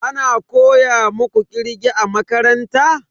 Ana koya muku kirge a makaranta?